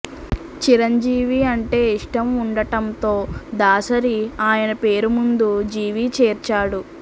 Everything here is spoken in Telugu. చిరంజీవి అంటే ఇష్టం ఉండటంతో దాసరి ఆయన పేరు ముందు జీవి చేర్చాడు